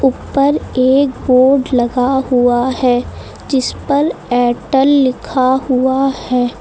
ऊपर एक बोर्ड लगा हुआ है जिस पर एयरटेल लिखा हुआ है।